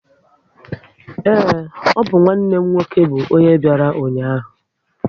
Ee, ọ bụ nwanne m nwoke bụ ọnye bịara ụnyaahụ